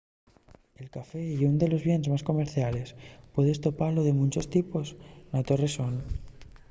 el café ye ún de los bienes más comerciales puedes topalo de munchos tipos na to rexón